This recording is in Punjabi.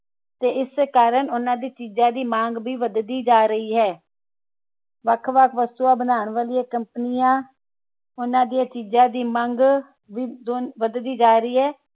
ਤੇ ਇਸ ਕਰਨ ਉੰਨਾ ਦੀ ਚੀਜਾਂ ਦੀ ਮੰਗ ਵੀ ਵਧਦੀ ਜਾ ਰਹੀ ਹੈ ਵੱਖ ਵੱਖ ਵਸਤਾਂ ਬਣਾਉਣ ਵਾਲਿਆਂ company ਉੰਨਾ ਦੀਆ ਚੀਜਾਂ ਦੀ ਮੰਗ ਵਧਦੀ ਜਾ ਰਹੀ ਹੈ